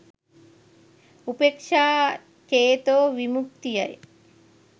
උපේක්ෂා චේතෝ විමුත්තියයි